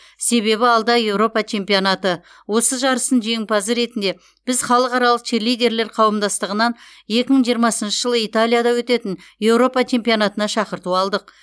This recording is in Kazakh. себебі алда еуропа чемпионаты осы жарыстың жеңімпазы ретінде біз халықаралық черлидерлер қауымдастығынан екі мың жиырмасыншы жылы италияда өтетін еуропа чемпионатына шақырту алдық